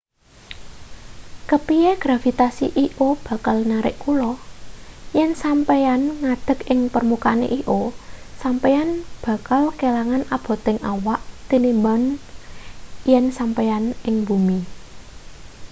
kepiye gravitasi io bakal narik kula yen sampeyan ngadeg ing permukaan io sampeyan bakal kelangan aboting awak tinimbang yen sampeyan ing bumi